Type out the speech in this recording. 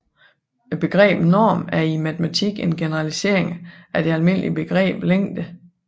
Begrebet norm er i matematikken en generalisering af det almindelige begreb længde